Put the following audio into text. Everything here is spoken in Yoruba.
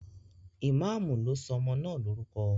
Imamu lo so ọmọ naa lorukọ.